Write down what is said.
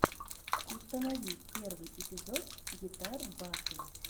установи первый эпизод гитар батл